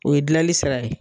O ye gilali sira ye